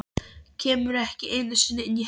Kemur ekki einu sinni inn í herbergið.